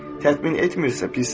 Təmin etmirsə, pisdir.